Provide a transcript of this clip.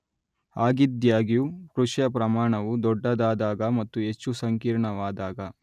ಹಾಗಿದ್ದಾಗ್ಯೂ ಕೃಷಿಯ ಪ್ರಮಾಣವು ದೊಡ್ಡದಾದಾಗ ಮತ್ತು ಹೆಚ್ಚು ಸಂಕೀರ್ಣವಾದಾಗ